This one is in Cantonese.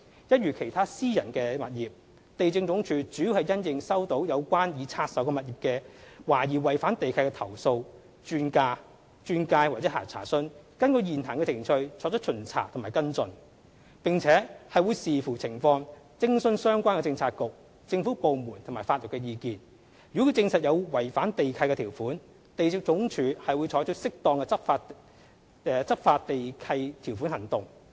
一如其他私人物業，地政總署主要是因應收到有關已拆售物業懷疑違反地契的投訴、轉介或查詢，根據現行程序作出巡查和跟進，並且會視乎情況徵詢相關政策局/政府部門及法律意見，如證實有違反地契條款，地政總署會採取適當的執行地契條款行動。